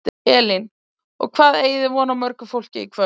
Elín: Og hvað eigið þið von á mörgu fólki í kvöld?